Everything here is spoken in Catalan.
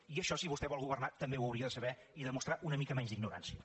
i això si vostè vol governar també ho hauria de saber i demostrar una mica menys d’ignorància